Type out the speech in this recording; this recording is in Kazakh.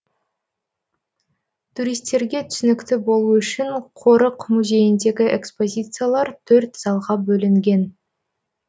туристерге түсінікті болу үшін қорық музейіндегі экспозициялар төрт залға бөлінген